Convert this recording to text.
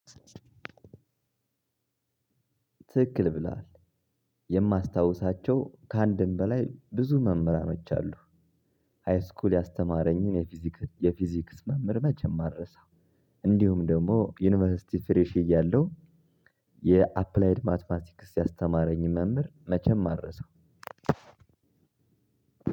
ትክክል ብሏል የማስታውሳቸው ከአንድም በላይ ብዙ መምህራኖች አሉ። ሃይስኩል ያስተማረኝን የፊዚክስ መምህር መቼም አረሳው። እንዲሁም ደግሞ ዩኒቨርሲቲ ፍሬሽ እያለሁ- የአፕላይድ ማትማቲክስ ያስተማረኝን መምህር መቼም አልረሳው።